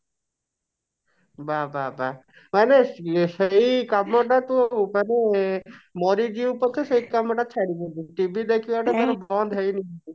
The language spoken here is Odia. ବାଃ ବାଃ ବାଃ ମାନେ ସେଇ କାମ ଟା ତୁ ମାନେ ମରିଯିବୁ ପଛେ ସେଇ କାମ ଟା ଛାଡ଼ିବୁନି TV ଦେଖିବା ଟା ଟା ବନ୍ଦ ହେଇନି